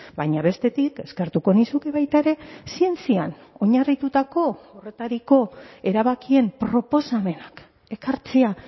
baina bestetik eskertuko nizuke baita ere zientzian oinarritutako horretariko erabakien proposamenak ekartzea